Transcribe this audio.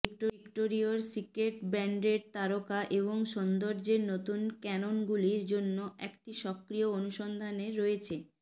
ভিক্টোরিয়র Secret ব্র্যান্ডের তারকা এবং সৌন্দর্যের নতুন ক্যাননগুলির জন্য একটি সক্রিয় অনুসন্ধানে রয়েছে